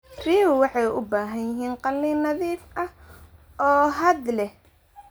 Riyuhu waxay u baahan yihiin qalin nadiif ah oo hadh leh.